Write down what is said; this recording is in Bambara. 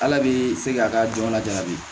Ala bɛ se k'a ka jamana di